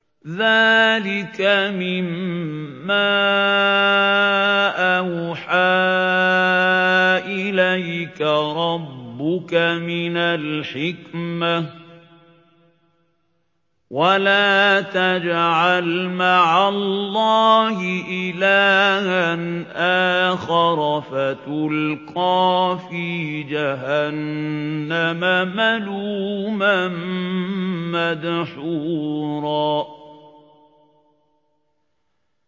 ذَٰلِكَ مِمَّا أَوْحَىٰ إِلَيْكَ رَبُّكَ مِنَ الْحِكْمَةِ ۗ وَلَا تَجْعَلْ مَعَ اللَّهِ إِلَٰهًا آخَرَ فَتُلْقَىٰ فِي جَهَنَّمَ مَلُومًا مَّدْحُورًا